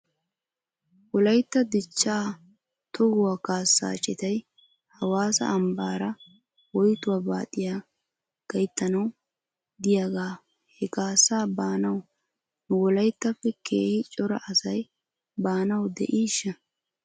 Wolaytta dichchaa tohuwaa kaassaa citay hawaassa ambbaara woyttuwaa baaxiyaa gayttana w de'iyaagga he kaassaa be'anaw nu wolayttappe keehi cora asay baanaw de'iishsha?